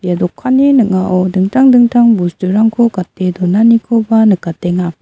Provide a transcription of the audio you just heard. ia dokanni ning·ao dingtang dingtang bosturangko gate donanikoba nikatenga.